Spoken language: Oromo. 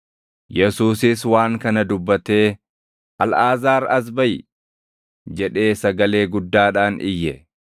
Yesuusis waan kana dubbatee, “Alʼaazaar, as baʼi!” jedhee sagalee guddaadhaan iyye.